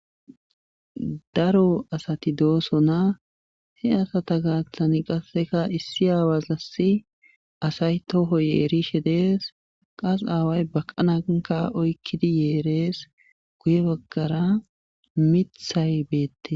Daro asati doosona he asata gaaththan qassekka issi aawassi asay toho yerishe dees. qass aaway baqana nkka oyqqidi yerees. guye bagara miththay beetees.